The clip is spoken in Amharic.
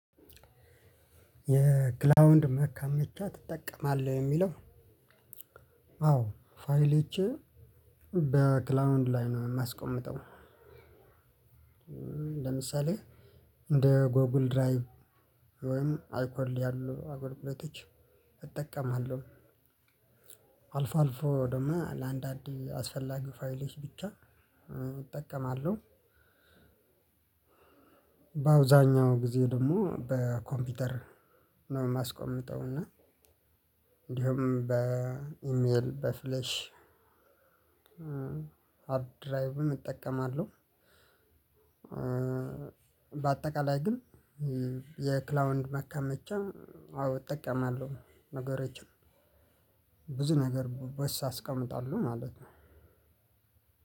የክላውድ ማከማቻ ትጠቀማለህ? የሚለው አዎ ፋይል ፋይልቼ በክላውንድ ላይ ነው የማስቀምጠው ለምሳሌ እንደ ጎግል ድራይቭ ወይም አይኮል ያሉ አገልግሎቶች እጠቀማለሁ። አልፎ አልፎ ደግሞ ለአንድ አንድ አስፈላጊ ፋይሎች ብቻ እጠቀማለሁ። በአብዛኛው ጊዜ ደግሞ በኮምፒውተር ነው የማስቀምጠው እና እንዲሁም በኢሜል በፍሌሽ አፕድራይቭም እጠቀማለሁ። በአጠቃላይ ግን የክላውድ ማከመቻ አዎ እጠቃማለሁ። ነገሮችን ብዙ ነገር በሱ አስቀምጣለሁ ማለት ነው።